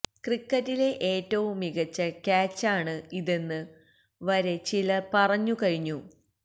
ക്രിക്കറ്റിലെ ഏറ്റവും മികച്ച ക്യാച്ചാണ് ഇതെന്ന് വരെ ചിലര് പറഞ്ഞുന കഴിഞ്ഞു